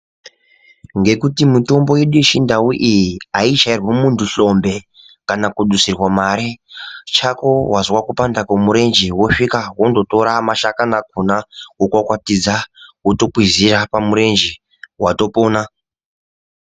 Ngekuti mutombo yedu yechindau iyi ayichairwi muntu hlombe kana kudusirwa mare, chako wazwa kupanda kwemurenje wosvika wondotora mashakani akona wokwakwatidza wotokwizira pamurenje watopona.